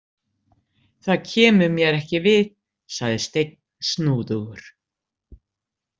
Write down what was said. Það kemur mér ekki við, sagði Steinn snúðugur.